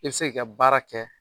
I se k'i ka baara kɛ.